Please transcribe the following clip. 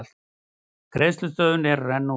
Greiðslustöðvun að renna út